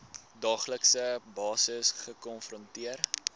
daaglikse basis gekonfronteer